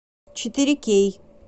четыре кей